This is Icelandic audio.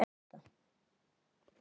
Það þyrmir yfir hann.